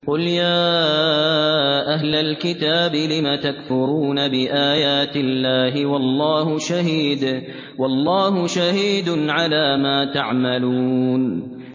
قُلْ يَا أَهْلَ الْكِتَابِ لِمَ تَكْفُرُونَ بِآيَاتِ اللَّهِ وَاللَّهُ شَهِيدٌ عَلَىٰ مَا تَعْمَلُونَ